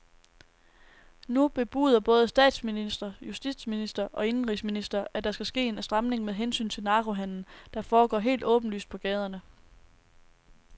Nu bebuder både statsminister, justitsminister og indenrigsminister, at der skal ske en stramning med hensyn til narkohandelen, der foregår helt åbenlyst på gaderne.